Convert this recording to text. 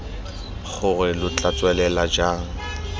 gore lo tla tswelela jang